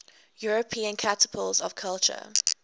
european capitals of culture